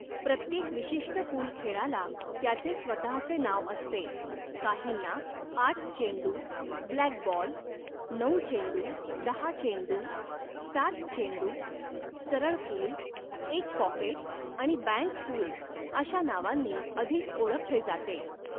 प्रत्येक विशिष्ट पूल खेळाला त्याचे स्वतहचे नाव असते, काहींना आठ चेंडू, ब्लॅकबॉल, नऊ चेंडू, दहा चेंडू, सात चेंडू, सरळ पूल, एक पॉकेट आणि बँक पूल अशा नावांनी अधिक ओळखले जाते.